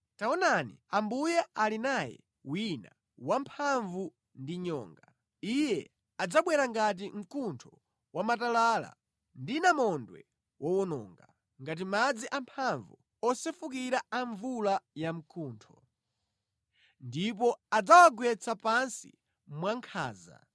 Taonani, ambuye ali naye wina wamphamvu ndi nyonga. Iye adzabwera ngati mkuntho wamatalala ndi namondwe wowononga, ngati madzi amphamvu osefukira a mvula yamkuntho; ndipo adzawagwetsa pansi mwankhanza.